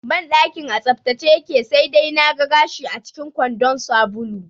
Banɗakin a tsaftace yake, sai dai na ga gashi acikin kwandon sabulu